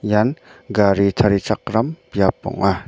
ian gari tarichakram biap ong·a.